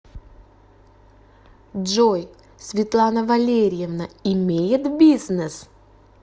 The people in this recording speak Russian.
джой светлана валерьевна имеет бизнес